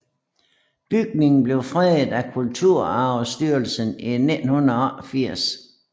Bygningen blev fredet af Kulturarvsstyrelsen i 1988